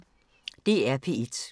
DR P1